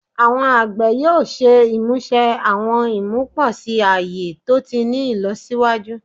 Awọn agbẹ yoo ṣe imuse awọn imuposi aye to ti ni ilọsiwaju